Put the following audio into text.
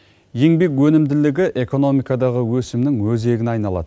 еңбек өнімділігі экономикадағы өсімнің өзегіне айналады